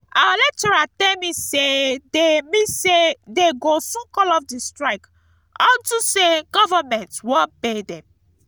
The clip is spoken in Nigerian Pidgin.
our lecturer tell me say dey me say dey go soon call off the strike unto say government wan pay dem